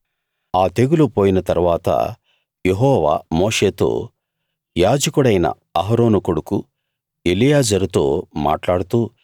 ఆ తెగులు పోయిన తరువాత యెహోవా మోషేతో యాజకుడైన అహరోను కొడుకు ఎలియాజరుతో మాట్లాడుతూ